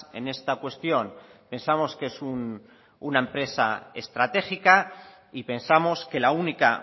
en esta cuestión pensamos que es una empresa estratégica y pensamos que la única